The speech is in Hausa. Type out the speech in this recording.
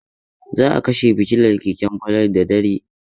Za a kashe fitilar keken Falalu da dare.